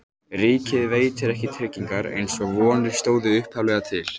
Ríkið veitir ekki tryggingar eins og vonir stóðu upphaflega til.